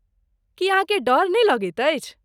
की अहाँकेँ डर नहि लगैत अछि?